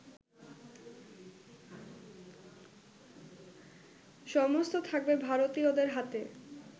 সমস্ত থাকবে ভারতীয়দের হাতে